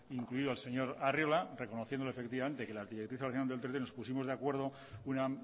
incluido al señor arriola reconociéndole efectivamente que en las directrices de ordenación del territorio nos pusimos de acuerdo una